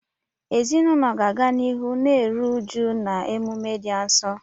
Ezinụlọ ga-aga n'ihu na-eru uju na emume dị nsọ.